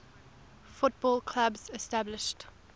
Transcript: football clubs established